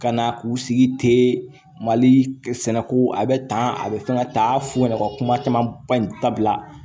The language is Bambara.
Ka na k'u sigi ten mali sɛnɛko a bɛ tan a bɛ fɛn ka ta fu ɲɛna u ka kuma caman ba in dabila